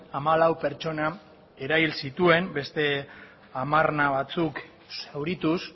hamalau pertsona erahil zituen beste hamarna batzuk zaurituz